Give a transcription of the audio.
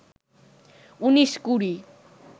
উনিশ কুড়ি